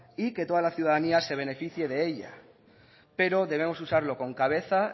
y que toda la ciudadanía se beneficie de ellas pero debemos usarlo con cabeza